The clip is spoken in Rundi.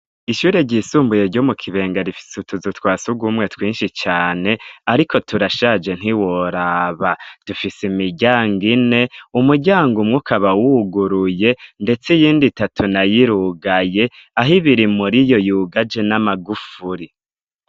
Ishure ryisumbuye ryo mu Kibenga rifise utuzu twa sugumwe twinshi cane ariko turashaje ntiworaba, dufise imiryang' ine umuryang' umwe ukaba wuguruye ndets' iyindi itatu, nay'irugaye ah'ibiri muriyo yugaje n'amagufuri.